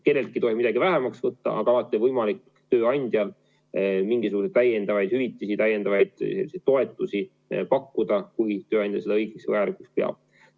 Kelleltki ei tohi midagi vähemaks võtta, aga alati on tööandjal võimalik mingisuguseid täiendavaid hüvitisi, täiendavaid toetusi pakkuda, kui tööandja seda õigeks ja vajalikuks peab.